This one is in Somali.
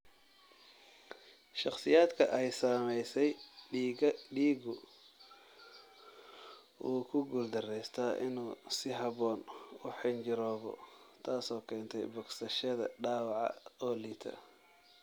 Shakhsiyaadka ay saamaysay, dhiiggu wuu ku guuldareystaa inuu si habboon u xinjiroobo, taasoo keentay bogsashada dhaawaca oo liita.